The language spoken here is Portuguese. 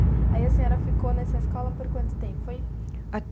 Aí a senhora ficou nessa escola por quanto tempo foi?